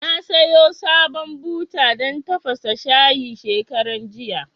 Na sayo sabon buta dan tafasa shayi shekaran jiya